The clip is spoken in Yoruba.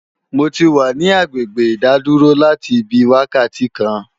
Mo ti wà ní agbègbè ìdádúró láti bí wákàtí kan